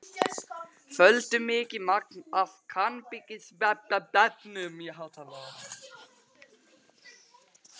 FÖLDU MIKIÐ MAGN AF KANNABISEFNUM Í HÁTALARA.